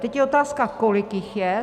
Teď je otázka, kolik jich je.